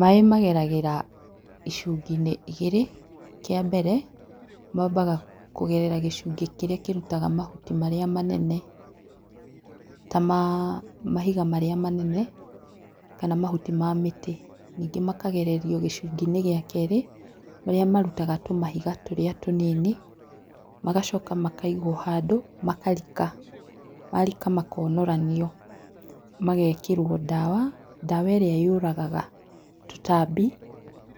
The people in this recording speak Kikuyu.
Maĩ mageragĩra icungi-inĩ igĩrĩ, kia mbere mambaga kũgerera gĩcungi kirĩa kĩrutaga mahuti marĩa manene, ta ma mahiga marĩa manene, kana mahuti ma mĩtĩ. Ningĩ makagererio gĩcungi-inĩ gĩa kerĩ marĩa marutaga tũmahiga tũrĩa tũnini, magacoka makaigwo handũ, makarika. Marika makonoranio magekĩrwo ndawa, ndawa ĩrĩa yũragaga tũtambi